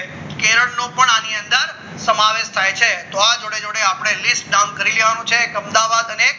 કેરળ નો આની અંદર સમાવેશ થાય છે જોડે જોડે આપણે list નામ કરી લેવાનું છે અમદાવાદ અને